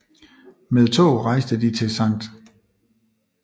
Med tog rejste de til Skt